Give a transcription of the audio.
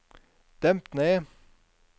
demp ned